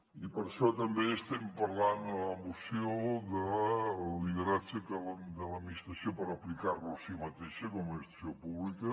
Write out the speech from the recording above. i per això també estem parlant en la moció del lideratge de l’administració per aplicar lo a si mateixa com a administració pública